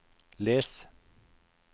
les